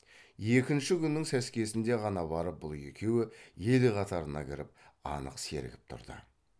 екінші күннің сәскесінде ғана барып бұл екеуі ел қатарына кіріп анық сергіп тұрды